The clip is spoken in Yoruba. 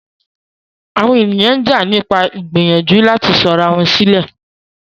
Àwọn ènìyàn ń jà nípa ìgbìyànjú láti sọ ara wọn sílẹ̀.